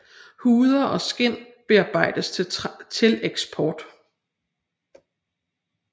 Huder og skind bearbejdes til eksport